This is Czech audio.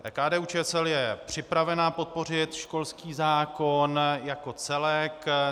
KDU-ČSL je připravena podpořit školský zákon jako celek.